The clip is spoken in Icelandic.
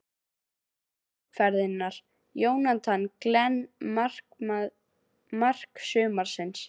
Mark umferðarinnar: Jonathan Glenn Mark sumarsins?